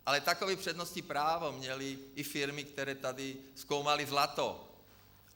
Ale takové přednostní právo měly i firmy, které tady zkoumaly zlato.